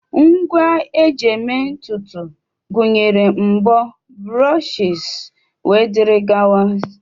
Ngwa eji eme ntutu gụnyere mbo, brushes wdg